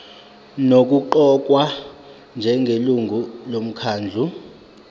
nokuqokwa njengelungu lomkhandlu